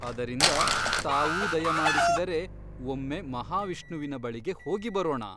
ಅದರಿಂದ ತಾವೂ ದಯಮಾಡಿಸಿದರೆ ಒಮ್ಮೆ ಮಹಾವಿಷ್ಣುವಿನ ಬಳಿಗೆ ಹೋಗಿಬರೋಣ.